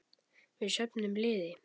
Við söfnum liði.